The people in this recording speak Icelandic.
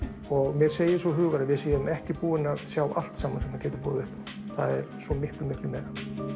og mér segir sá hugur að við séum ekki búin að sjá allt saman sem að hann getur boðið upp á það er svo miklu miklu meira